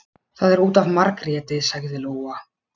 Það er út af Margréti, sagði Lóa.